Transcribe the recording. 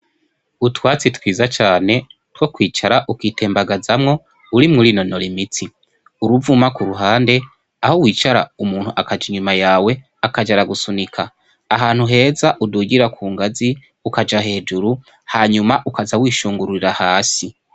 Utwatsi twiza cane two kwicara ukitembagazamwo, urimwo urinonora imitsi. Uruvuma k'uruhande, aho wicara umuntu akaja inyuma yawe, akaja aragusunika. Ahantu heza udugira ku ngazi ukaja hejuru, hanyuma ukaja urishungururira hasi.